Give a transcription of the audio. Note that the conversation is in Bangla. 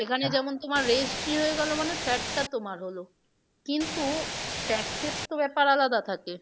এখানে যেমন তোমার registry হয়ে গেলো মানে flat টা তোমার হলো। কিন্তু tax এর তো ব্যাপার আলাদা থাকে